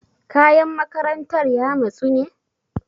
Kayan makarantar ya matsu ne?